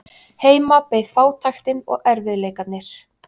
Heima beið fátæktin og erfiðleikarnir.